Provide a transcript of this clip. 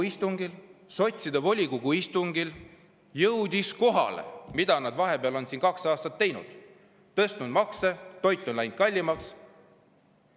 Aga sotside volikogu istungil jõudis neile järsku kohale, mida nad on siin vahepeal kaks aastat teinud: nad on tõstnud makse ja toit on läinud kallimaks.